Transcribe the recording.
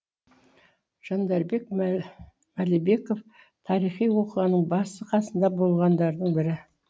жандарбек мәлібеков тарихи оқиғаның басы қасында болғандардың бірі